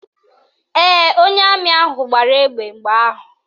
Ee, onye amị ahụ gbara egbe mgbe ahụ